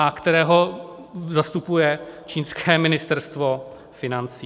A kterého zastupuje čínské ministerstvo financí.